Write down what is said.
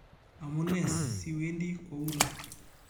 Amune siwendi kou ni?